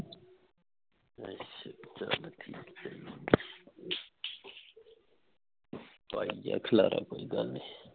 ਅੱਛਾ ਚੱਲ ਠੀਕ ਹੈ ਪਾਈ ਜਾ ਖਿਲਾਰਾ ਕੋਈ ਗੱਲ ਨਹੀਂ